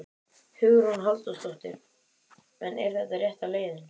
Hugrún Halldórsdóttir: En er þetta rétta leiðin?